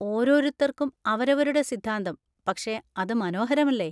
ഓരോരുത്തർക്കും അവരവരുടെ സിദ്ധാന്തം, പക്ഷേ അത് മനോഹരമല്ലേ?